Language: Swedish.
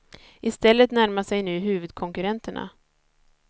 I stället närmar sig nu huvudkonkurrenterna.